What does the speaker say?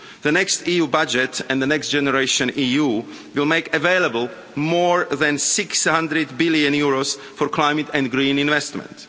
The next EU budget and Next Generation EU will make available more than EUR 600 billion for climate and green investment.